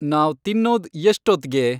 ನಾವ್ ತಿನ್ನೋದ್‌ ಎಷ್ಟೊತ್ತ್ಗೆ